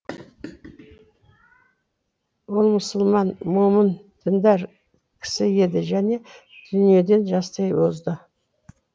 ол мұсылман момын діндар кісі еді және дүниеден жастай озды